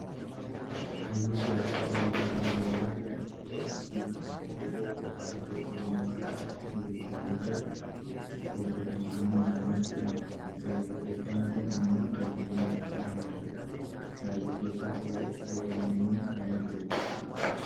Hayyuu siyaasaa Oromoo kan yeroo wayyaaneen Itoophiyaa bulchaa turte Qeerroof qarree Oromoo kakaasa ture yommuu ta'u, obbo Jawaar Mahaammad jedhama. Gaazixeesaan kun immoo Dajanee Guutamaa jedhamu. Gaazixeesaa OMN nama turedha.